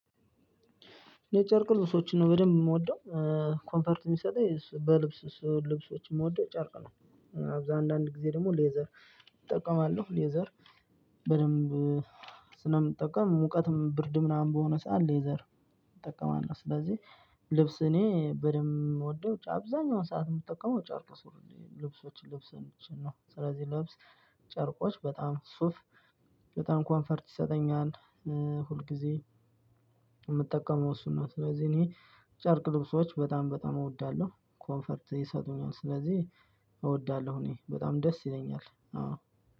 የጨርቅ ልብሶችን ነው በደንብ የምወደው ኮምፈርት ሚሰጠኝ በልብስ ልብሶችን የምወደው ጨርቅ ነው። አንዳንድ ጊዜ ደግሞ ሌዘር እጠቀማለሁ። ሌዘር በደንብ ስለምጠቀም ሙቀትም ብርድ ምናምን በሆነ ሰዓት ሌዘር እጠቀማለሁ። ስለዚህ ልብስ እኔ በደንብ የምወደው አብዛኛውን ሰዓት የምትጠቀመው ጨርቅ ልብሶችን ልብስ ነው ስለዚህ ልብስ ጨርቆች በጣም ሱፍ በጣም ኮንፈርት ይሰጠኛል። ሁልጊዜ የምጠቀመው እሱ ነው። ስለዚህ እኔ ጨርቅ ልብሶች በጣም በጣም እወዳለሁ ኮንፈርት ይሰጡኛል ስለዚህ እወዳለሁ። እኔ በጣም ደስ ይለኛል።